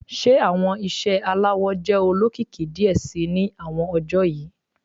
Ṣe awọn iṣẹ alawọ jẹ olokiki diẹ sii ni awọn ọjọ yii